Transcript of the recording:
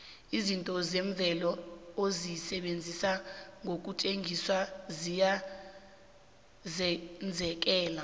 izinto zemvelo ozisebenzi ngosetjenziswa ziya zenzekela